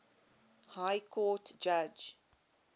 high court judge